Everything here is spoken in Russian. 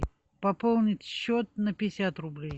пополнить счет на пятьдесят рублей